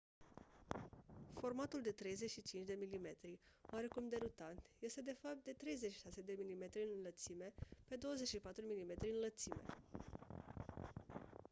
formatul de 35 mm oarecum derutant este de fapt de 36 mm în lățime pe 24 mm în înălțime